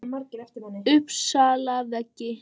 Uppsalavegi